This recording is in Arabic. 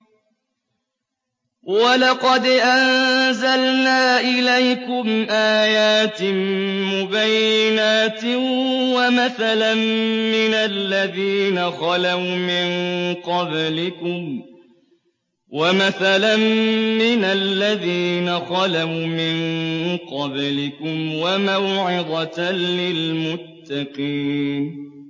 وَلَقَدْ أَنزَلْنَا إِلَيْكُمْ آيَاتٍ مُّبَيِّنَاتٍ وَمَثَلًا مِّنَ الَّذِينَ خَلَوْا مِن قَبْلِكُمْ وَمَوْعِظَةً لِّلْمُتَّقِينَ